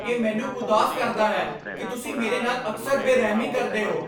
ਇਹ ਮੈਨੂੰ ਉਦਾਸ ਕਰਦਾ ਹੈ ਕਿ ਤੁਸੀਂ ਮੇਰੇ ਨਾਲ ਅਕਸਰ ਬੇਰਹਿਮੀ ਕਰਦੇ ਹੋ।